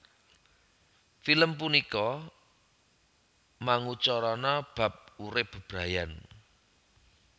Film punika mangucarana bab urip bebrayan